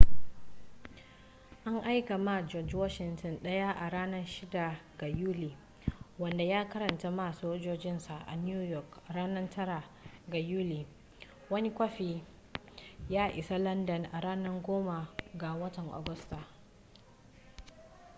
an aika ma george washington ɗaya a ranar 6 ga yuli wanda ya karanta ma sojojinsa a new york ranar 9 ga yuli wani kwafi ya isa landan a ranar 10 ga watan agusta